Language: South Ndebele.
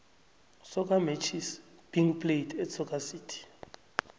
soccer matches being played at soccer city